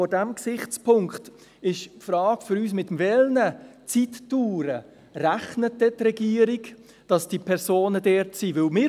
Vor diesem Gesichtspunkt stellt sich für uns die Frage, mit welchen Zeitdauern, während derer diese Personen in Prêles sind, die Regierung rechnet.